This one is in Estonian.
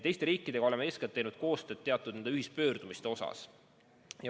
Teiste riikidega oleme eeskätt teinud koostööd teatud ühispöördumiste näol.